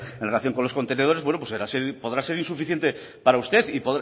en relación con los contenedores bueno pues así podrá seguir suficiente para usted